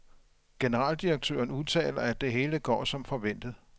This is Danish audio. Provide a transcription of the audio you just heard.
Generaldirektøren udtaler, at det hele går som forventet.